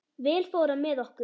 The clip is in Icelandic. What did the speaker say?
Vel fór á með okkur.